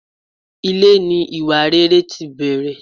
Ilé ní iwáréré tí bẹrè